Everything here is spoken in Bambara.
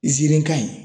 Izirin ka ɲi